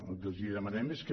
el que els demanem és que